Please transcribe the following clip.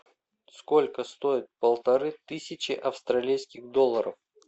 сколько стоит полторы тысячи австралийских долларов